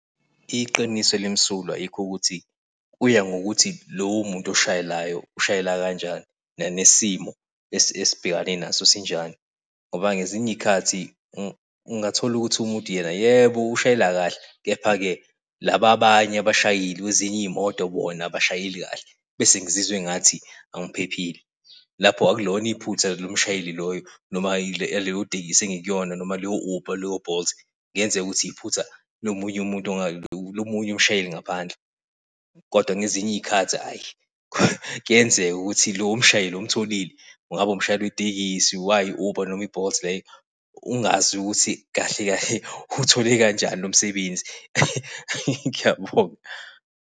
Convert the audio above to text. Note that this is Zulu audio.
Iqiniso elimsulwa yikho ukuthi kuya ngokuthi lowo muntu oshayelayo ushayela kanjani nanesimo esibhekane naso sinjani ngoba ngezinye izikhathi ungathola ukuthi umuntu yena, yebo, ushayela kahle. Kepha-ke laba, abanye abashayeli kwezinye iy'moto, bona abashayeli kahle. Bese ngizizwa engathi angiphephile. Lapho akulona iphutha lomshayeli loyo noma yaleyo tekisi engikuyona noma leyo Uber leyo Bolt, kuyenzeka ukuthi iphutha lomunye umuntu, lomunye umshayeli ngaphandle. Kodwa ngezinye iy'khathi ayi kuyenzeka ukuthi lowo mshayeli omtholile umshayeli wetekisi wayo i-Uber noma i-Bolt leyo ungazi ukuthi kahle kahle uthole kanjani lo msebenzi . Ngiyabonga.